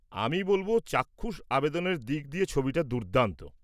আমি বলব চাক্ষুষ আবেদনের দিক দিয়ে ছবিটা দুর্দান্ত।